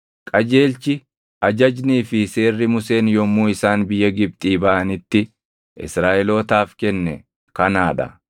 Qajeelchi, ajajnii fi seerri Museen yommuu isaan biyya Gibxii baʼanitti Israaʼelootaaf kenne kanaa dha;